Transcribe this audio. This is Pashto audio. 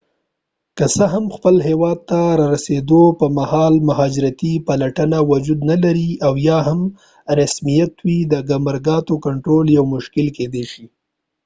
که څه هم خپل هیواد ته د رارسیدو پر مهال مهاجرتي پلټنه وجود نلري او یا هم یو رسمیت وي د ګمرکاتو کنترول یو مشکل کیدای شي